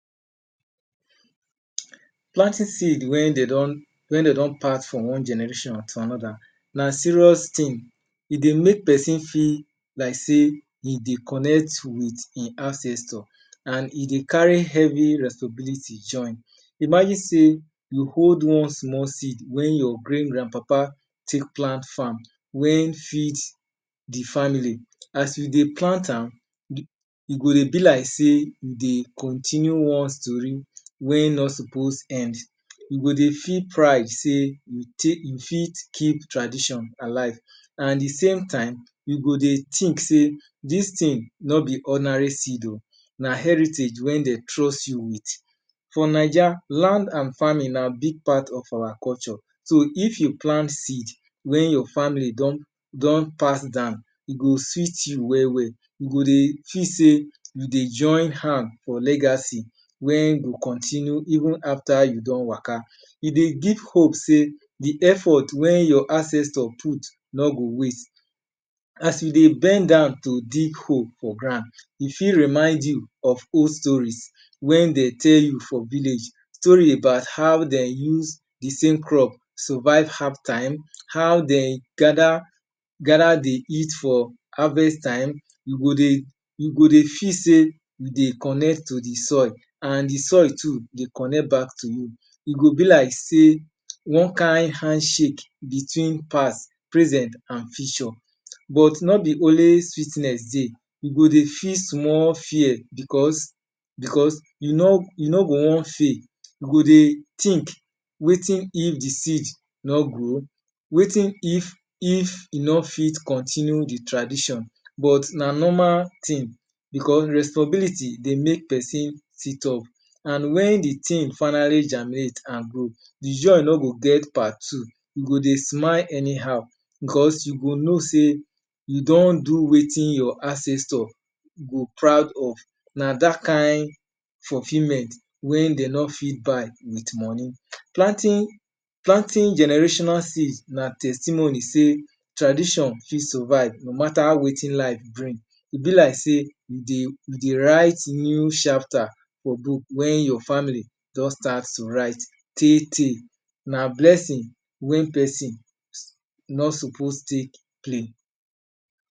Plenty seed wey de don pass from one generation to another na serious tin. E dey make peson feel like sey e dey connect with ein ancestor. An e dey carry heavy responsibility join. Imagine sey you hold one small seed wey your great grandpapa take plant farm wey feed the family. As you dey plant am, e go dey be like sey you dey continue one story. wey no suppose end. You go dey feel pride sey you fit keep tradition alive At the same time, you go dey think sey dis tin no be ordinary seed oh, na heritage wey de trust you with. For Naija, land an farming na big part of our culture. So, if you plant seed, wey your family don pass down, e go sweet you well-well. You go dey feel sey you dey join hand for legacy wey go continue even after you don waka. E dey give hope sey the effort wey your ancestor put no go waste. As you dey bend down to dig hole for ground, e fit remind you of old stories wey de tell you for village. Story about how de use the same crop survuve hard time, how de gather the for harvest time. You go dey feel sey you dey connect to the soil an the soil too dey connect back to you. E go be like sey one kain handshake between past, present an future. But no be only sweetness dey. You go dey feel small fear becos you no go wan fail. You go dey think "Wetin if the seed no grow?" "Wetin if e no fit continue the tradition?" But na normal tin becos responsibility dey make peson sit up. An wen the tin finally germinate an grow, the joy no go get part two. You go dey smile anyhow becos you go know sey you don do wetin your ancestor go proud of. Na dat kain fulfillment wey de no fit buy with money. Planting generational seed na testimony sey tradition fit survive no matter wetin life bring. E be like sey you dey write new chapter for book wey your family don start to write tey-tey. Na blessing wey peson no suppose take play.